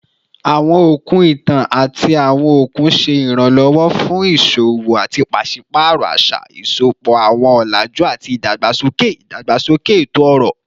Awọn okun itan ati awọn okun ṣe iranlọwọ fun iṣowo ati paṣipaarọ aṣa, sisopọ awọn ọlaju ati idagbasoke idagbasoke eto-ọrọ